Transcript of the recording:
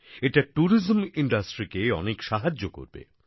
এটা ট্যুরিজম ইন্ডাস্ট্রিকে অনেক সাহায্য করবে